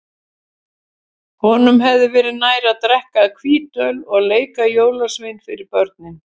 Honum hefði verið nær að drekka hvítöl og leika jólasvein fyrir börnin.